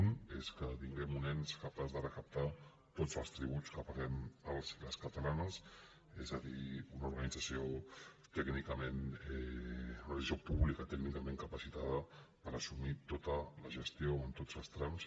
un és que tinguem un ens capaç de recaptar tots els tributs que paguem els i les catalanes és a dir una organització pública tècnicament capacitada per assumir tota la gestió en tots els trams